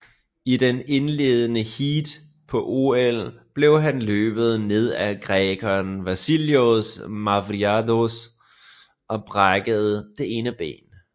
I det indledende heat på OL blev han løbet ned af grækeren Vasilios Mavroidis og brækkede det ene ben